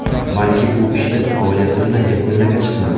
Balki bu ishni faoliyatimni yakunlagach qilaman.